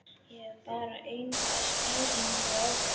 Ég hef bara enga skýringu á því.